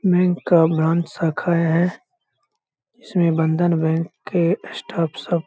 bank का branch शाखा है इसमे बंधन बैंक के स्टाफ सब --